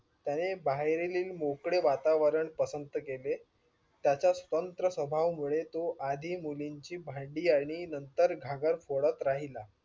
त्याने बाहेरील मोकळे वातावरण पसंत केले. त्याच्या तंत्र स्वभावामुळे तो आधी मुलींची भांडी आणि नंतर घागर फोडत राहिला.